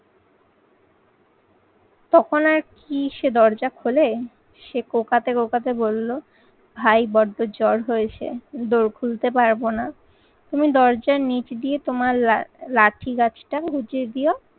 তখন আর কি সে দরজা খোলে সে কোকাতে কোকাতে বলল, ভাই বড্ডো জ্বর হয়েছে, দোর খুলতে পারবো না, তুমি দরজার নিচ দিয়ে তোমার লাঠিগাছটা গুঁজে দিও